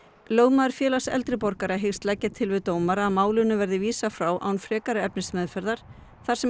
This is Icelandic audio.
lögmaður Félags eldri borgara hyggst leggja til við dómara að málinu verði vísað frá án frekari efnismeðferðar þar sem